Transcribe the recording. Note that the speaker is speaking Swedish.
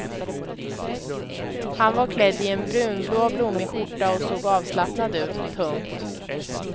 Han var klädd i en brunblå blommig skjorta och såg avslappnad ut. punkt